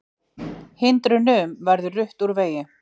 Hindrunum verið rutt úr vegi